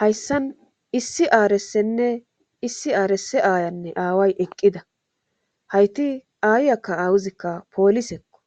Hayssan issi aaressenne issi aaresse aayanne aaway eqqida hayti ayyakka awuzikka poolisekko